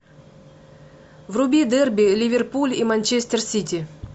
вруби дерби ливерпуль и манчестер сити